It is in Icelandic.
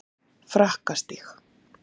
Frakkastíg